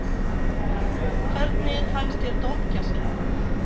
Hvernig fannst þér dómgæslan?